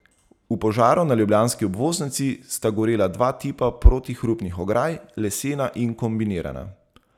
V požaru na ljubljanski obvoznici sta gorela dva tipa protihrupnih ograj, lesena in kombinirana.